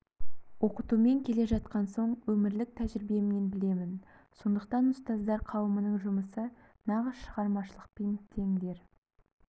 оқытумен келе жатқан соң өмірлік тәжірибемнен білемін сондықтан ұстаздар қауымының жұмысы нағыз шығармашылықпен тең дер